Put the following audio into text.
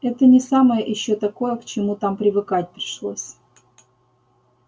это не самое ещё такое к чему там привыкать пришлось